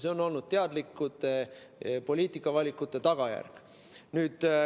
See on olnud teadlike poliitikavalikute tagajärg.